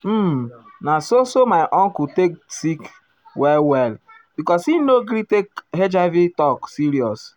um na so so my uncle take sick well well because he no gree take ah hiv talk serious.